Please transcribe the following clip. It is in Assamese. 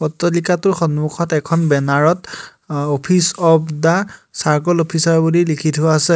তলিকাটোৰ সন্মুখত এখন বেনাৰ ত অহ office of the charcoal officer বুলি লিখি থোৱা আছে।